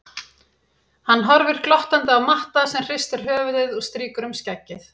Hann horfir glottandi á Matta sem hristir höfuðið og strýkur um skeggið.